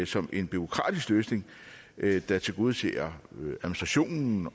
som en bureaukratisk løsning der tilgodeser administrationen